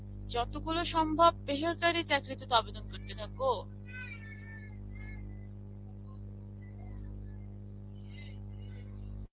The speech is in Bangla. যতগুলো সম্ভব বেসরকারী চাকরিতে তো আবেদন করতে থাকো.